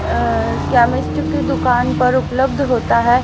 Chemist की दुकान पर उपलब्ध होता है।